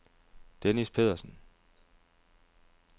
Dennis Pedersen